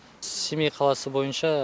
семей қаласы бойынша